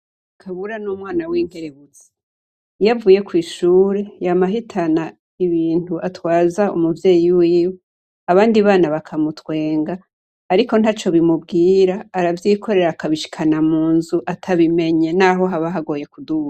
Kabura n'umwana w'inkerebutsi. iyavuye Kw'Ishure, yama ahitana ibintu atwaza Umuvyeyi wiwe, abandi bana bakamutwenga ariko ntaco bimubwira, aravyikorera akabishikana munzu atabimenye naho haba hagoye kuduga.